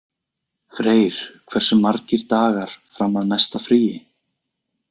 Freyr, hversu margir dagar fram að næsta fríi?